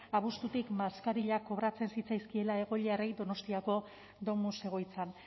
abuztutik maskarillak kobratzen zitzaizkiela egoiliarrei donostiako domus egoitzan